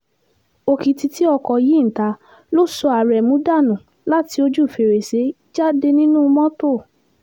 òkìtì tí ọkọ̀ yìí ń ta ló sọ aremu dànù láti ojú fèrèsé jáde nínú mọ́tò